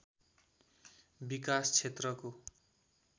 विकास क्षेत्रको